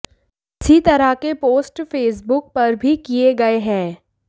इसी तरह के पोस्ट फेसबुक पर भी किए गए हैं